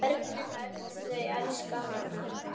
Börnin öll þau elska hann.